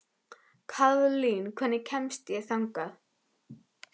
Kaðlín, hvernig kemst ég þangað?